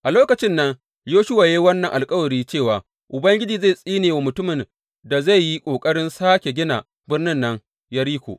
A lokacin nan Yoshuwa ya yi wannan alkawari cewa, Ubangiji zai tsine wa mutumin da zai yi ƙoƙarin sāke gina birnin nan, Yeriko.